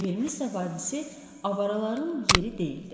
Ver mis vadisi avaraların yeri deyildi.